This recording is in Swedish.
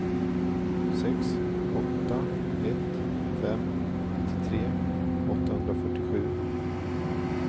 sex åtta ett fem nittiotre åttahundrafyrtiosju